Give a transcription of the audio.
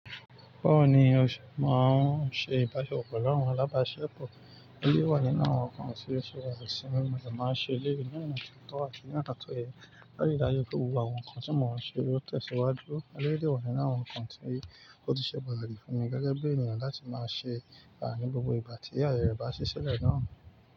Bawoni o se máa ń ṣe ìbálo pelu láwọn alábáṣepọ̀. Eleyii wà ninu awo nkan tí ó ṣe wà ní ìsinmi mo sì máa ń ṣe lẹ́yìn náà. Ìtọ́wọ̀ àti nípa àtọ̀hẹ, bá ti dá rí pé gbogbo àwọn nǹkan tí mo máa ń ṣe yóò tẹ̀síwájú. Lẹ́yìn wà yín náà, àwọn nǹkan tí ó ti ṣe wà láti fún mi gẹ́gẹ́ bí ènìyàn láti máa ṣe bẹ̀rẹ̀ ní gbogbo ìgbà tí yàrá ìbáṣe sílẹ̀ náà.